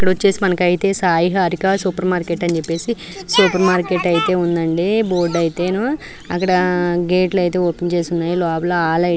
ఇక్కడైతే మనకు వచ్చేసి సాయి హారిక సూపర్ మార్కెట్ అని చెప్పేసి సూపర్ మార్కెట్ అయితే ఉందండి బోర్డు ఐతేను. అక్కడ గట్లైతే ఓపెన్ చేశారు. లోపల ఆలయ --